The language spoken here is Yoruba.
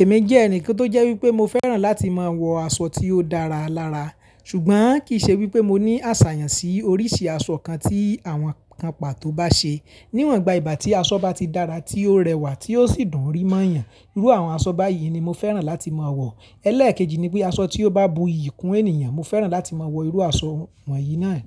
Èmi jẹ́ ẹnì kan tó jẹ́ wípé mo fẹ́ràn láti máa wọ aṣọ tí ó dára lára, ṣùgbọ́n kì í ṣe wípé mo ní àṣàyàn sí oríṣi aṣọ kan tí àwọn kan pàtó bá ṣe. Níwọ̀n gba ìgbà tí aṣọ bá ti dára tí ó rẹwà tí ó sì dùn ri máa yàn. Irú àwọn aṣọ báyìí ni mo fẹ́ràn láti máa wọ. Ẹlẹ́èkejì ni pé aṣọ tí ó bá buyì kún ènìyàn mo fẹ́ràn láti máa wọ irú aṣọ wọ̀nyí náà